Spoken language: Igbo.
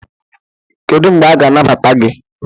kedu mgbe a ga-anagbata gị